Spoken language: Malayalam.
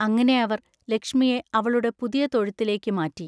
അങ്ങിനെ അവർ ലക്ഷ്മിയെ അവളുടെ പുതിയ തൊഴുത്തിലേക്ക് മാറ്റി.